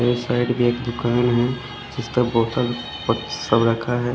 इस साइड भी एक दूकान है जिस पर बोटल सब रखा है।